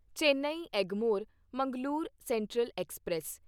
Chennai Egmore Mangalore central express